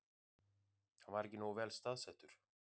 Hann var ekki nógu vel staðsettur